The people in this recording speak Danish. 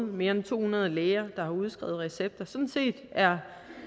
mere end to hundrede læger der har udskrevet recepter sådan set er